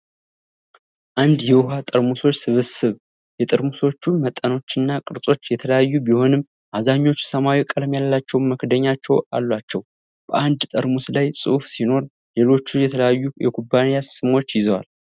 አንድ የውሃ ጠርሙሶች ስብስብ። የጠርሙሶቹ መጠኖችና ቅርጾች የተለያዩ ቢሆንም፣ አብዛኞቹ ሰማያዊ ቀለም ያላቸው መክደኛዎች አሏቸው። በአንዱ ጠርሙስ ላይ ጽሑፍ ሲኖር፣ ሌሎቹም የተለያዩ የኩባንያ ስሞችን ይዘዋል።